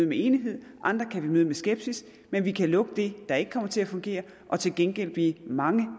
med enighed andre med skepsis men vi kan lukke det der ikke kommer til at fungere og til gengæld blive mange